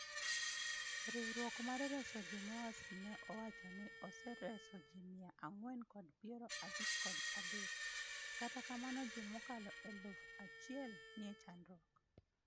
Riwruok mar reso ji Moas ne owacho ni osereso ji mia ang'wen kod piero abich kod adek, kata kamano ji mokalo eluf achiel nie chandruok